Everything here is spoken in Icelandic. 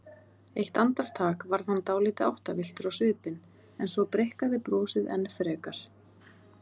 Eitt andartak varð hann dálítið áttavilltur á svipinn en svo breikkaði brosið enn frekar.